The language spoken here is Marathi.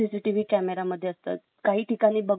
काही ठिकाणी बघ बांधकाम याच्यामध्ये